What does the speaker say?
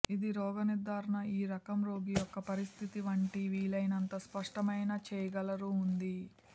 ఇది రోగ నిర్థారణ ఈ రకం రోగి యొక్క పరిస్థితి వంటి వీలైనంత స్పష్టమైన చేయగలరు ఉంది